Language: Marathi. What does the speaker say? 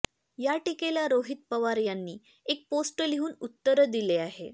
या टीकेला रोहित पवार यांनी एक पोस्ट लिहून उत्तर दिले आहे